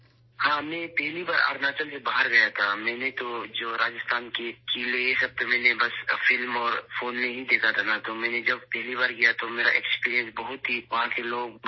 جی ، میں پہلی بار اروناچل سے باہر گیا تھا، میں نے راجستھان کے ان تمام قلعوں کو صرف فلموں میں اور فون پر دیکھا تھا، اس لیے جب میں پہلی بار گیا تو وہاں بہت سے لوگوں کا تجربہ ہوا